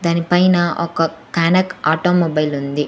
దానిపైన ఒక కనక్ ఆటోమొబైల్ ఉంది.